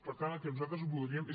per tant el que nosaltres voldríem és